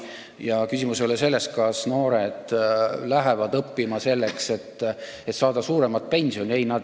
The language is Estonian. Ja küsimus ei ole selles, kas noored lähevad õppima selleks, et saada suuremat pensioni.